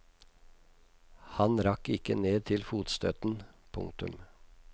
Han rakk ikke ned til fotstøtten. punktum